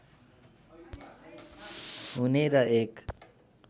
हुने र एक